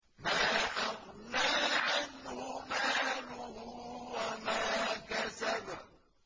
مَا أَغْنَىٰ عَنْهُ مَالُهُ وَمَا كَسَبَ